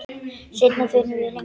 Seinna förum við lengra.